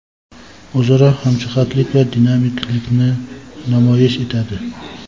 o‘zaro hamjihatlik va dinamiklikni namoyish etadi.